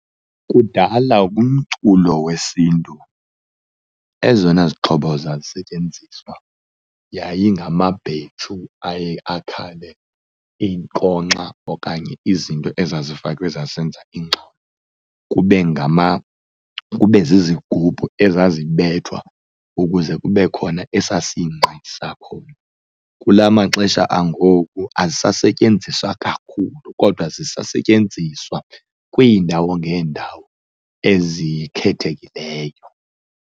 Kudala kumculo wesiNtu ezona zixhobo zazisetyenziswa yayingamabhetshu aye akhale, iinkonkxa okanye izinto ezifakwe ezazenza ingxolo. Kube kube zizigubhu ezazibethwa ukuze kube khona esasingqi sakhona. Kula amaxesha angoku azisasetyenziswa kakhulu kodwa zisasetyenziswa kwiindawo ngeendawo ezikhethekileyo.